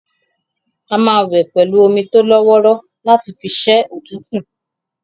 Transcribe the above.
A máa wẹ̀ pẹ̀lú omi tólọ́wọ́rọ́ láti fi ṣẹ́ òtútù